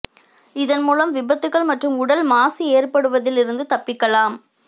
இதன் மூலம் விபத்துகள் மற்றும் உடல் மாசு ஏற்படுவதில் இருந்து தப்பிக்கலாம்